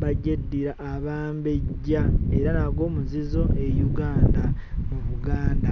bagyeddira Abambejja era nagwo muzizo e Uganda mu Buganda.